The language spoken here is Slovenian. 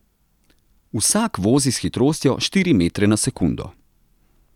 Vsak vozi s hitrostjo štiri metre na sekundo.